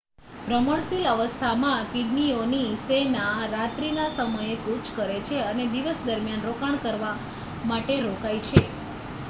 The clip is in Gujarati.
ભ્રમણશીલ અવસ્થામાં કીડીઓની સેના રાત્રિના સમયે કૂચ કરે છે અને દિવસ દરમિયાન રોકાણ કરવા માટે રોકાય છે